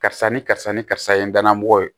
Karisa ni karisa ni karisa ye n dan mɔgɔ ye